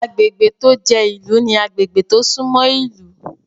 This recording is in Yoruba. Agbègbè tó jẹ́ ìlú ní agbègbè tó sún mọ́ ìlú